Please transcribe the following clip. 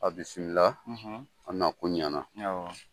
A bisimila, aw na kun ɲana.